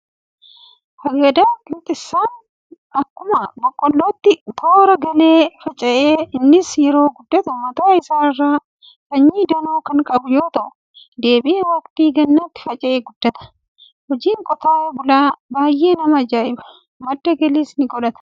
Hagadaa qinxirsaan akkuma boqqollootti toora galee faca'a. Innis yeroo guddatu mataa isaarraa sanyii danuu kan qabu yoo ta'u, deebi'ee waqtii gannaatti faca'ee guddata. Hojiin qotee bulaa baay'ee nama ajaa'iba! Madda galiis ni godhata.